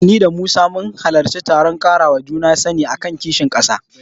Ni da Musa mun halarci taron ƙarawa juna sani a kan kishin ƙasa.